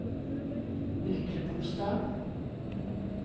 Myklebostad